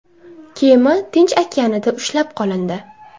Kema Tinch okeanida ushlab qolindi.